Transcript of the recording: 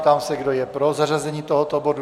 Ptám se, kdo je pro zařazení tohoto bodu.